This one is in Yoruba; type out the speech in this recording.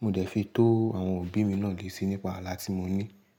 Mo dẹ̀ fi tó àwọn òbí mi náà létí nípa alá tí mo ní.